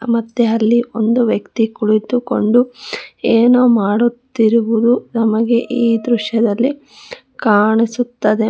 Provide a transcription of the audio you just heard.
ಮತ್ತೆ ಅಲ್ಲಿ ಒಂದು ವ್ಯಕ್ತಿ ಕುಳಿತುಕೊಂಡು ಏನೋ ಮಾಡುತ್ತಿರುವುದು ನಮಗೆ ಈ ದೃಶ್ಯದಲ್ಲಿ ಕಾಣಿಸುತ್ತದೆ.